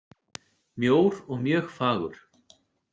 Mjór og mjög fagur.